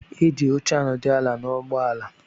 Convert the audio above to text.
Eji óche anodu ala na ụgbọ ala.